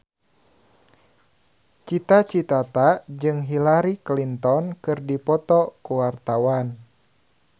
Cita Citata jeung Hillary Clinton keur dipoto ku wartawan